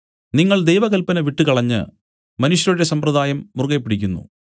നിങ്ങൾ ദൈവകല്പന വിട്ടുകളഞ്ഞ് മനുഷ്യരുടെ സമ്പ്രദായം മുറുകെപ്പിടിക്കുന്നു